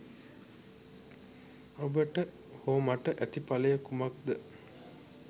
ඔබට හෝ මට ඇති ඵලය කුමක්ද?